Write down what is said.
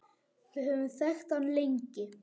Við höfum þekkt hann lengi.